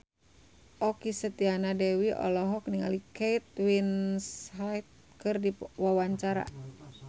Okky Setiana Dewi olohok ningali Kate Winslet keur diwawancara